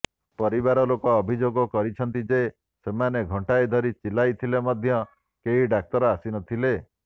ପରିବାର ଲୋକେ ଅଭିଯୋଗ କରିଛନ୍ତି ଯେ ସେମାନେ ଘଣ୍ଟାଏ ଧରି ଚିଲାଇଥିଲେ ମଧ୍ୟ କେହି ଡାକ୍ତର ଆସିନଥିଲେ